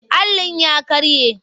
Allin ya ƙare.